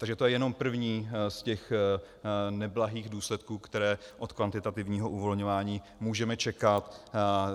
Takže to je jenom první z těch neblahých důsledků, které od kvantitativního uvolňování můžeme čekat.